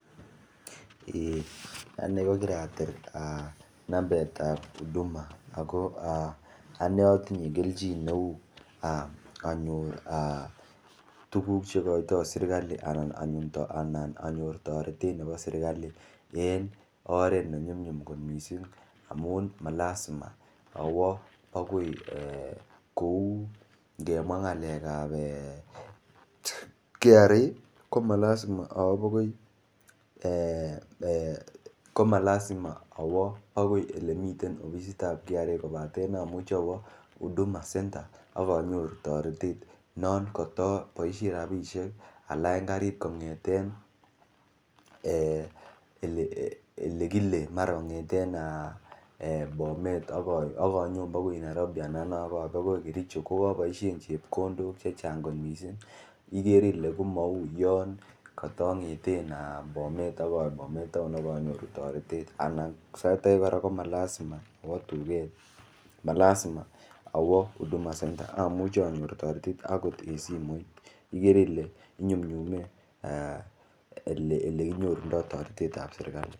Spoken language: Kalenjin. Ane kokiratil number ap huduma ako ane atinye kelchin neu anyor tuguchu cheikoiytoi serikali anan anyor toretet nepo serikali en oret ne nyum nyum kot mising amun malazima awo akoi kou ng'emwa ng'alek ap kra komalaza awo akoi oleimiten ofisit ap kra kopaten amuchi awa akoi huduma center akanyoru toretet non kotoboishe ropishek alany karit kong'eten mara kong'ete bomet akanyo akoi Nairobi anan akoi kericho kokaboishen chepkondok chechang kot mising igere ile komauyon katang'eten bomet town akanyoru toretet anan sait age kora komalazima awo duket malazima awo huduma center amuchei anyor toretet akot eng' simoit igere ile inyumnyume olekinyorundoi toretet ap serikali.